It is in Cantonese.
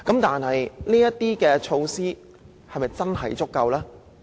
但是，這些措施是否足夠呢？